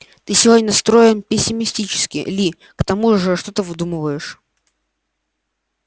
ты сегодня настроен пессимистически ли к тому же что-то выдумываешь